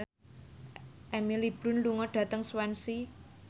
Emily Blunt lunga dhateng Swansea